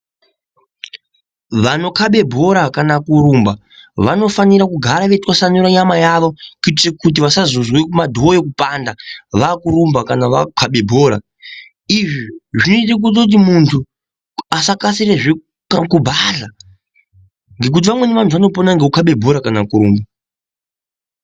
Vanokhabe bhora kana kurumba vanofanira kugare veitwasanura nyama yavo kuitire kuti vasazozwa kumadhoyo kupanda vaakurumba kana vakhaba bhora. Izvi zvinotoita kuti muntu asakasira kubhadhla ngekuti vamweni vantu vanopona ngekukhaba bhora kana kurumba.